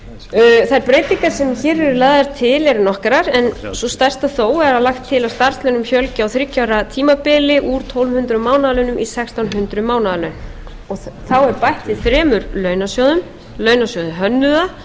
lagðar til eru nokkrar en sú stærsta þó er að lagt er til að starfslaunum fjölgi á þriggja ára tímabili úr tólf hundruð mánaðarlaunum í sextán hundruð mánaðarlaun þá er bætt við þremur launasjóðum launasjóði hönnuða